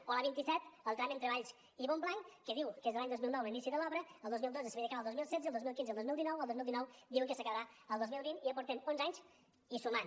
o l’a vint set el tram entre valls i montblanc que diu que és de l’any dos mil nou l’inici de l’obra el dos mil dotze s’havia d’acabar al dos mil setze el dos mil quinze al dos mil dinou el dos mil dinou diuen que s’acabarà al dos mil vint i ja portem onze anys i sumant